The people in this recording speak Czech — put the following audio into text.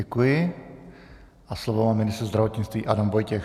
Děkuji a slovo má ministr zdravotnictví Adam Vojtěch.